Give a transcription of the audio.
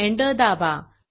enter दाबा